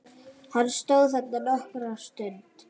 Hann stóð þarna nokkra stund.